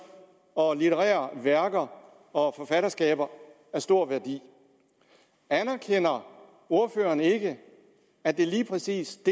litterære værker og forfatterskaber af stor værdi anerkender ordføreren ikke at det lige præcis